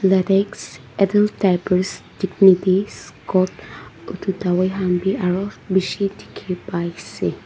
latex adult diapers dignity scott edu dawai khan bi aro bishi dikhipaiase.